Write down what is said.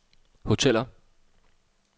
hoteller